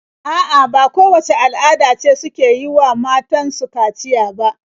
A'a, ba kowacce al'ada ce suke yi wa matan su kaciya ba.